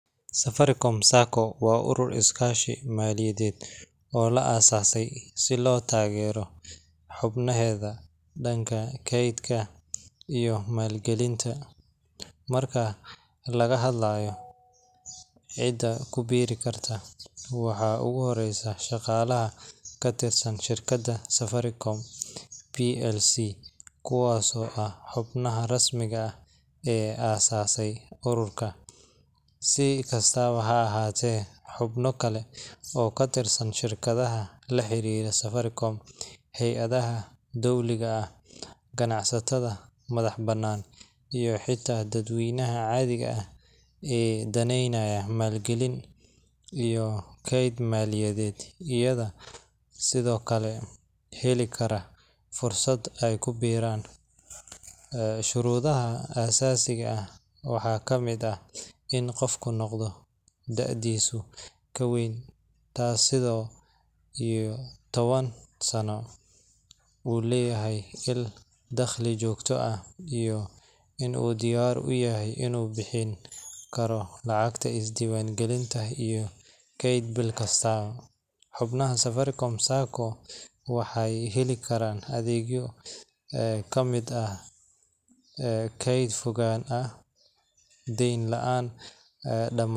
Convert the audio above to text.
Safaricom Sacco waa urur is kaashi maaliyadeed oo la asase si loo tagero maal galinta, waa ugu horesaa shaqalaha Safaricom, si kastaaba ha ahaate xubno kale iyo ganacsatada iyo dad weynaha ayaa heli kara fursad aay kubiraan, sharudaha waxaa kamid ah inaay dadu ka weyn tahay sideed iyo taban Sano, xubnaha waxeey heli karaan keed fudeed ah deen laan.